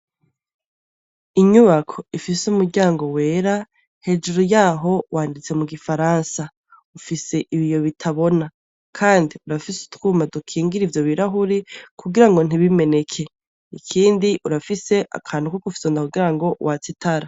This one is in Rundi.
Inyubako ifise umuryango wera, hejuru yaho wanditse mu gifaransa. Ufise ibiyo bitabona. Kandi urafise utwuma dukingira ivyo birahuri kugira ngo ntibimeneke. Ikindi urafise akantu ko gufyonda kugira ngo watse itara.